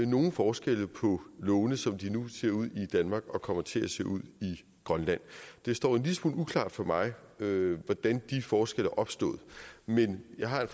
nogle forskelle på lovene som de nu ser ud i danmark og kommer til at se ud i grønland det står en lille smule uklart for mig hvordan de forskelle er opstået men jeg har